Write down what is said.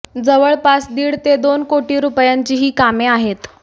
जवळपास दीड ते दोन कोटी रुपयांची ही कामे आहेत